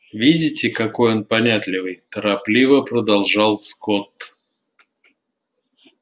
видите какой он понятливый торопливо продолжал скотт